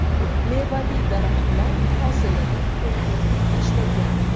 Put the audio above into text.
Mevali daraxtlar hosilini to‘kib tashlagan.